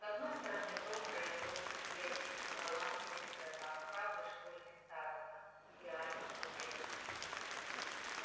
с одной стороны том реддл бедный но талантливый сирота храбрый школьный староста идеальный студент